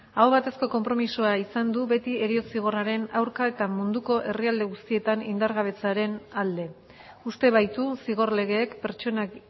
aho batezko konpromisoa izan du beti heriotza zigorraren aurka eta munduko herrialde guztietan indargabetzearen alde uste baitu zigor legeek pertsonak